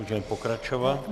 Můžeme pokračovat.